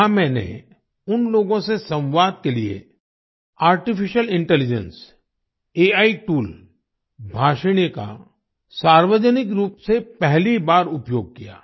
वहां मैंने उन लोगों से संवाद के लिए artificial intelligence AI tool Bhashini का सार्वजनिक रूप से पहली बार उपयोग किया